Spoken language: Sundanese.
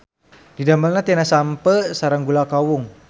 Didamelna tina sampeu sareng gula kawung.